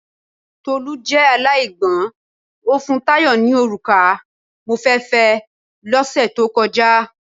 Tolú jẹ́ aláìgbọ́ń, o fún Tayo ni òrùka mo fẹ́ fẹ́ ẹ lọ́ sẹ̀ tó kọjá.